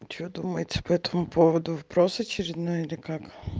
что думаете по этому поводу вброс очередной или как